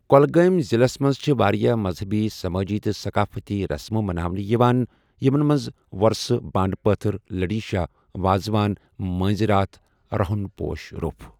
کۄلگٲمۍ ضلعس منٛز چھِ واریاہ مذہبی سمٲجی تہٕ صقافتی رسمہٕ مناونہٕ یِوان یِمن منٛز وۄرسہٕ بانٛڈٕ پٲتھٕر لٔڈی شاہ واز وان مٲنٛزۍ راتھ رُہن پوش روٚف۔